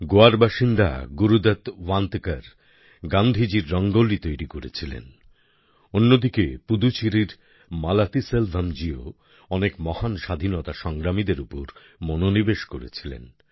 গোয়ার বাসিন্দা গুরুদত্ত ওয়ান্তেকার গান্ধীজির রঙ্গোলি তৈরি করেছিলেন অন্যদিকে পুদুচেরির মালাতিসেলভম জিও অনেক মহান স্বাধীনতা সংগ্রামীদের উপর মনোনিবেশ করেছিলেন